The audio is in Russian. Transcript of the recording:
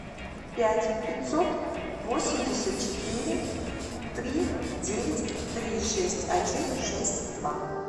пять пятьсот восемьдесят четыре три девять три шесть один шесть два